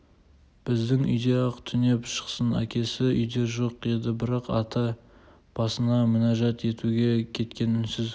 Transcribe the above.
біздің үйде-ақ түнеп шықсын әкесі үйде жоқ еді барақ ата басына мінәжат етуге кеткен үнсіз